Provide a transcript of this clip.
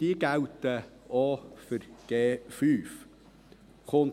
Diese gelten auch für 5G. Hinzu kommt: